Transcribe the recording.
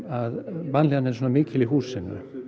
að vanlíðanin er svona mikil í húsinu